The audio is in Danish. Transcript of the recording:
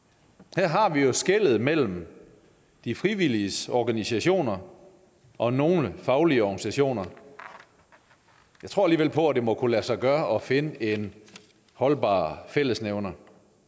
her har vi jo skellet mellem de frivilliges organisationer og nogle faglige organisationer jeg tror alligevel på at det må kunne lade sig gøre at finde en holdbar fællesnævner